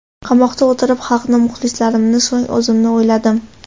Qamoqda o‘tirib, xalqni, muxlislarimni, so‘ng o‘zimni o‘yladim.